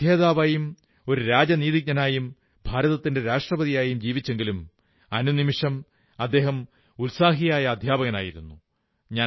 ഒരു പണ്ഡിതനായിരുന്നു ഒരു നയതന്ത്രജ്ഞനായിരുന്നു ഭാരതത്തിന്റെ രാഷ്ട്രപതിയായും ജീവിച്ചെങ്കിലും എല്ലാ അർത്ഥത്തിലും അദ്ദേഹം ഉത്സാഹിയായ അധ്യാപകനായിരുന്നു